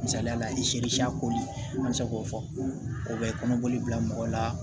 Misaliya la i koli an bɛ se k'o fɔ o bɛ kɔnɔbɔli bila mɔgɔ la